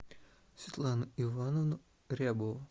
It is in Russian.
светлану ивановну рябову